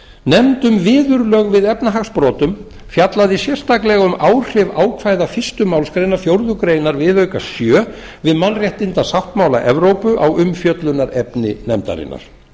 nefnd um viðurlög við efnahagsbrotum fjallaði sérstaklega um áhrif ákvæða fyrstu málsgrein fjórðu grein viðauka sjö við málréttindasáttmála evrópu á umfjöllunarefni nefndarinnar